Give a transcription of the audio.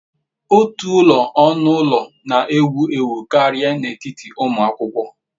Ulo otu onu ulo na-ewu ewu karịa n'etiti ụmụ akwụkwọ.